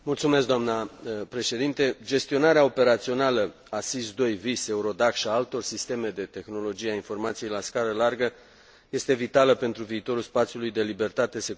Gestionarea operațională a SIS II, VIS, EURODAC și a altor sisteme de tehnologia informației la scară largă este vitală pentru viitorul spațiului de libertate, securitate și justiție european.